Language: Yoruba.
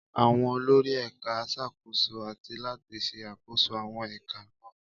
Àwọn olórí Ẹ̀ka ń ṣàkóso àti láti ṣe àkóso àwọn ẹ̀ka náà.